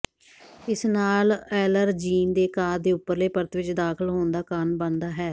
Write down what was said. ਇਸ ਨਾਲ ਐਲਰਜੀਨ ਦੇ ਅਕਾਰ ਦੇ ਉੱਪਰਲੇ ਪਰਤ ਵਿੱਚ ਦਾਖਲ ਹੋਣ ਦਾ ਕਾਰਨ ਬਣਦਾ ਹੈ